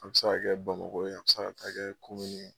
A bi se ka kɛ BAMAKO a bi se ka taa kɛ na.